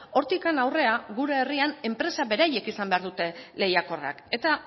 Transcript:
hortik aurrera gure herrian enpresak beraiek izan behar dute lehiakorrak eta